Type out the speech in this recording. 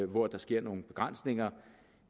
hvor der sker nogle begrænsninger